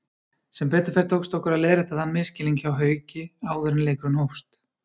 Sem betur fer tókst okkur að leiðrétta þann misskilning hjá Hauk áður en leikurinn hófst.